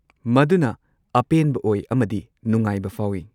ꯃꯗꯨꯅ ꯑꯄꯦꯟꯕ ꯑꯣꯏ ꯑꯃꯗꯤ ꯅꯨꯡꯉꯥꯏꯕ ꯐꯥꯎꯏ꯫